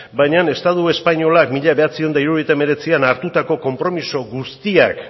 baina estatu espainolak mila bederatziehun eta hirurogeita hemeretzian hartutako konpromiso guztiak